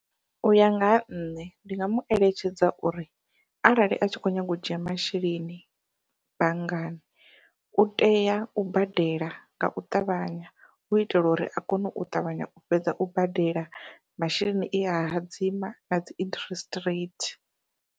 Uya nga ha nṋe ndi nga mueletshedza uri arali a tshi kho nyaga u dzhia masheleni banngani, u tea u badela ngau ṱavhanya hu itela uri a kone u ṱavhanya u fhedza u badela masheleni e a hadzima nadzi interest rate.